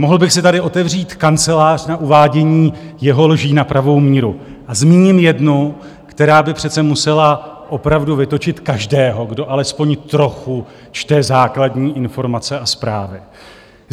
Mohl bych si tady otevřít kancelář na uvádění jeho lží na pravou míru a zmíním jednu, která by přece musela opravdu vytočit každého, kdo alespoň trochu čte základní informace a zprávy.